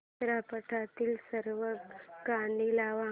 चित्रपटातील सर्व गाणी लाव